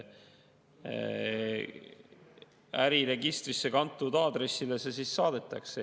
Äriregistrisse kantud aadressile teated saadetakse.